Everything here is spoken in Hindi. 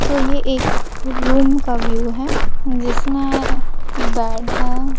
सो ये एक रूम का व्यू है जिसने बेड है।